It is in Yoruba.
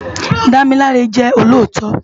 Damilare jè ólótò